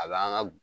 A b'an ka